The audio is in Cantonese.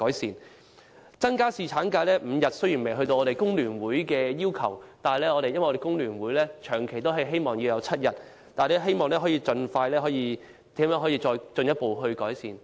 至於增加侍產假至5天的建議，雖然未能達到工聯會把侍產假增至7天的要求，但我們仍然希望盡快能夠得到進一步改善。